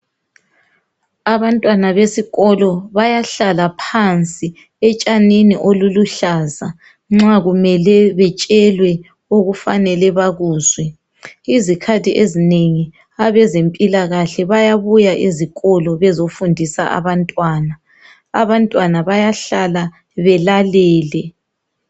Abantwana besikolo bayahlala phansi etshanini obuluhlaza nxa kumele betshelwe okufanele bakuzwe izikhathi ezinengi abezempilakahle bayabuya ezikolo bezofundisa abantwana, abantwana bayahlala belalele.